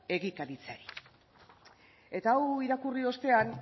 egikaritzeari eta hau irakurri ostean